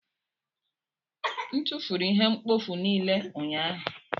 M tụfuru ihe mkpofu niile ụnyahụ.